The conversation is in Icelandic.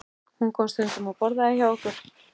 Hún kom stundum og borðaði hjá okkur.